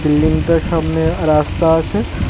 বিল্ডিংটার সামনে রাস্তা আছে।